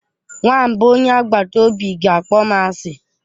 Nwamba onye agbata obi ga-akpọ m asị.